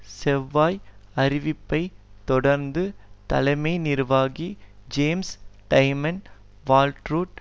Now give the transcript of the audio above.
செவ்வாய் அறிவிப்பை தொடர்ந்து தலைமை நிர்வாகி ஜேம்ஸ் டைமன் வால்ற்ரரூட்